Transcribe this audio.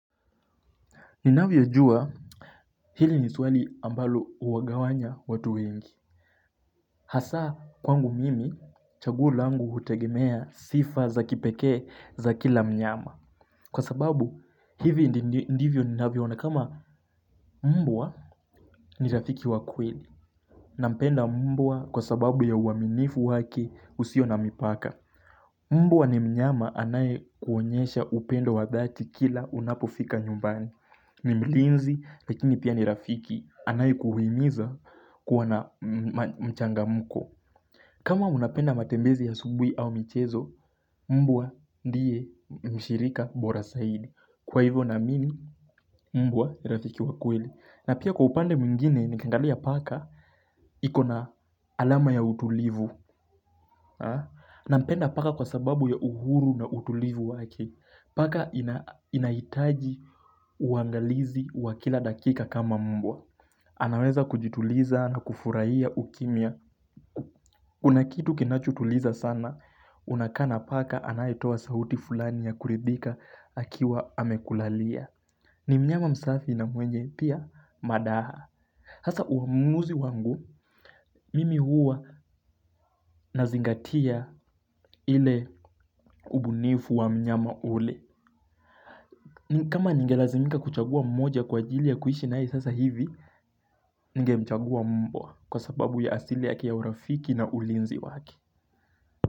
Ninavyo jua hili ni swali ambalo uwagawanya watu wengi. Hasa kwangu mimi chaguo langu hutegemea sifa za kipekee za kila mnyama. Kwa sababu hivi ndivyo ninavyo ona kama mbwa. Ni rafiki wa kweli. Nampenda mbwa kwa sababu ya uaminifu wake usio na mipaka. Mbwa ni mnyama anaye kuonyesha upendo wa dhati kila unapofika nyumbani. Ni mlinzi, lakini pia ni rafiki anaye kuhimiza kuwa na mchangamuko. Kama unapenda matembezi ya asubuhi au michezo, mbwa ndiye mshirika bora zaidi. Kwa hivyo naamini, mbwa ni rafiki wa kweli. Na pia kwa upande mwingine, nikiangalia paka, ikona alama ya utulivu. Nampenda paka kwa sababu ya uhuru na utulivu wake. Paka inahitaji uangalizi wa kila dakika kama mbwa. Anaweza kujituliza na kufurahia ukimia. Kuna kitu kinachutuliza sana. Unakaa na paka anaye toa sauti fulani ya kuridhika. Akiwa amekulalia. Ni mnyama msafi na mwenye pia madaha. Sasa uhurumuuzi wangu. Mimi huwa nazingatia ile ubunifu wa mnyama ule. Ni kama ningelazimika kuchagua mmoja kwa ajili ya kuishi nae sasa hivi ningemchagua mbwa kwa sababu ya asili yake ya urafiki na ulinzi wake.